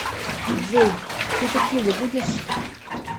джой ты текилу будешь